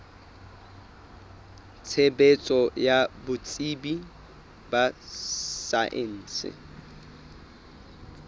tshebetso ya botsebi ba saense